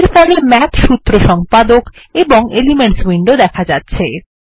এর ফলে মাথ সূত্র সম্পাদক এবং এলিমেন্টস উইন্ডো দেখা যাচ্ছে